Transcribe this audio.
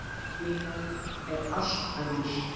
Líðanin er allt önnur.